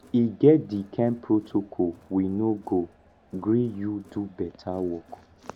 e get di kain protocol we no go gree you do beta work